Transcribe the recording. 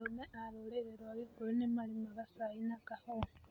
Arũme a rũrĩrĩ rwaa gikũyu nĩ marĩmaga cai na kahũwa